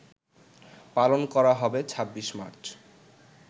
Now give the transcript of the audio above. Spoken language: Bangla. পালন করা হবে ২৬ মার্চ